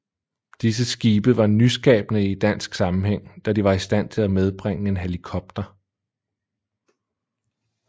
Disse skibe var nyskabende i dansk sammenhæng da de var i stand til at medbringe en helikopter